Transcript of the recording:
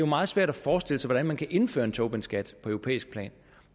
meget svært at forestille sig hvordan man kan indføre en tobinskat på europæisk plan